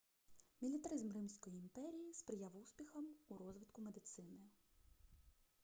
мілітаризм римської імперії сприяв успіхам у розвитку медицини